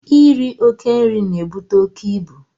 Iri oke nri na-ebute oke ibu.